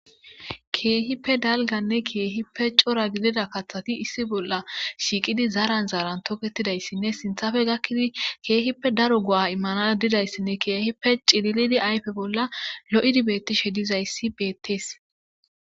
keehippe dalganne keehippe cora gidida kathati issi bolla shiiqidi zaran zaaran toketidayssinne sinthafe gakkidi keehippe daro go'a immana didayssinne keehippe cililidi ayfe bolla lo'o cilidi beettishe dizayssi beettees